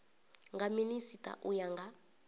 nga minisita u ya nga